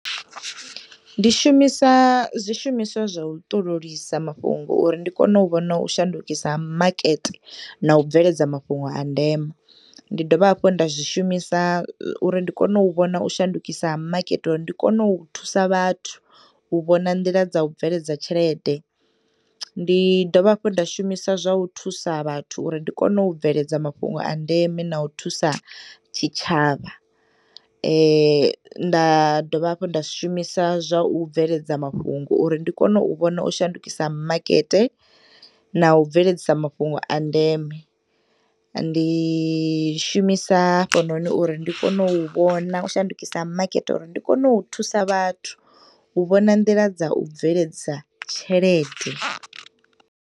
Ndi shumisa zwishumiswa zwa u ṱololisa mafhungo uri ndi kone u vhona u shandukisa ha makete na ubveledza mafhungo a ndeme ndi dovha hafhu nda zwishumisa uri ndi kone uvhona u shandukisa ha makete uri ndikono thusa vhathu u vhona nḓila dza u bveledza tshelede. Ndi dovha hafhu nda shumisa zwa u thusa vhathu uri ndikone u bveledza mafhungo a ndeme na u thusa tshitshavha nda dovha hafhu nda shumisa zwa u bveledza mafhungo uri ndikone u vhona u shandukisa makete na ubveledzisa mafhungo a ndeme. Ndi shumisa hafhunoni uri ndikono uvhona u shandukisa makete uri ndi kone u thusa vhathu u vhona nḓila dza u bveledza tshelede.